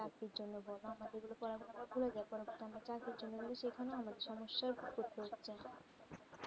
অতটা আমাদের করা আমাদের জন্য সমস্যা